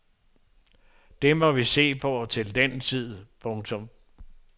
Det må vi se på til den tid. punktum